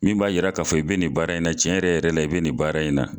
Min b'a yira k'a fɔ e be nin baara in na cɛn yɛrɛ la e be nin baara in na